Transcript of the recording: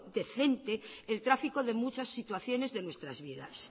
decente el tráfico de muchas situaciones de nuestras vidas